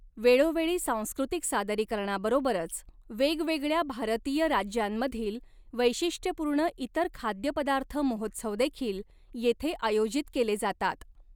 वेळोवेळी, सांस्कृतिक सादरीकरणाबरोबरच वेगवेगळ्या भारतीय राज्यांमधील वैशिष्ट्यपूर्ण इतर खाद्यपदार्थ महोत्सवदेखील येथे आयोजित केले जातात.